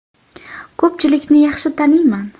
Ko‘pchilikni yaxshi taniyman.